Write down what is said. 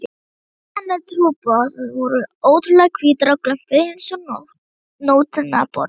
Tennur trúboðans voru ótrúlega hvítar og glömpuðu einsog nótnaborð.